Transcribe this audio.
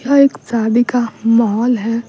यह एक शादी का माहौल है।